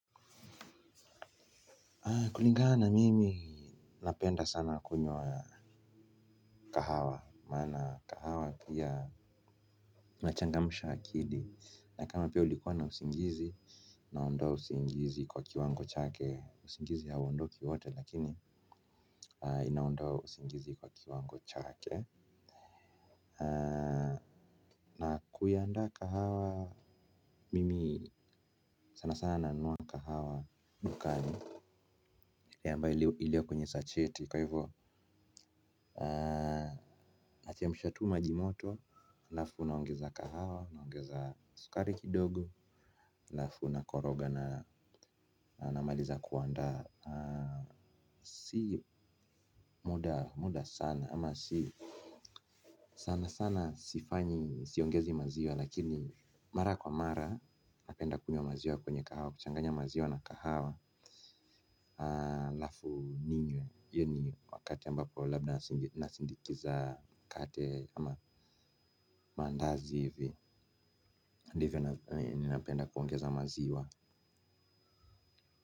Kulingana mimi napenda sana kunywa kahawa maana pia unachangamisha akili na kama pia ulikuwa na usingjizi. Na ondaa usingjizi kwa kiwango chake usingiizi hauondoki wote lakini inaondoa usingjizi kwa kiwango chake. Na kuiandaa kahawa mimi sana sana nanunua kahawa dukani ile ambayo iliyokwenye sacheti kwa hivyo. Nachemsha tu maji moto, alafu naongeza kahawa, naongeza sukari kidogo, alafu nakoroga na namaliza kuandaa. Si muda sana ama si sana sana sifanyi, siongezi maziwa lakini mara kwa mara, napenda kunywa maziwa kwenye kahawa, kuchanganya maziwa na kahawa alafu ninywe hiyo ni wakati ambapo labda nasindikiza mkate ama mandazi hivi ndivyo ninapenda kuongeza maziwa.